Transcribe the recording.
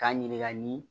K'a ɲininka ni